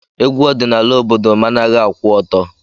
Egwu ọdịnala obodo managhị akwụ ọtọ.